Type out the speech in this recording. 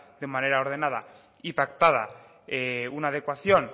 de manera ordenada y pactada una adecuación